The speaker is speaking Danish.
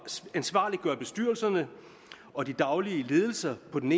ansvarliggøre bestyrelserne og de daglige ledelser og på den